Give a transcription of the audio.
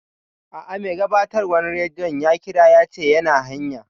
A'a, mai gabatarwan radiyon ya ƙira yace yana hanya